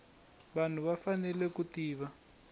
vanhu va fanele ku tiva